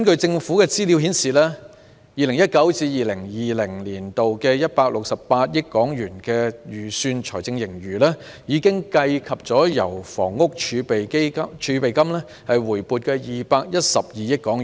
政府資料顯示 ，2019-2020 年度的168億元的預算財政盈餘，已計及由房屋儲備金回撥的212億元。